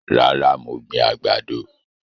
Rárá, mo gbìn àgbàdo